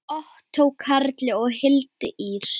Ottó Karli og Hildi Ýr.